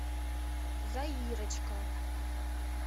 заирочка